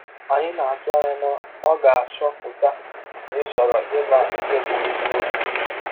Anyị na - atụ anya na ọ ga - achọpụta na ị chọrọ ịma nke bụ́ eziọkwụ!